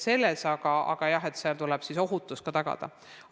Aga kõikjal tuleb ohutus tagada.